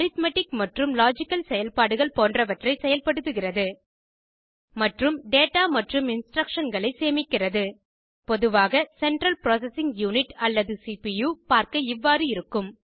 arithmetic மற்றும் logical செயல்பாடுகள் போன்றவற்றை செயல்படுத்துகிறது மற்றும் டேடா மற்றும் இன்ஸ்ட்ரக்ஷன்களை சேமிக்கிறது பொதுவாக சென்ட்ரல் ப்ராசசிங் யூனிட் அல்லது சிபியூ பார்க்க இவ்வாறு இருக்கும்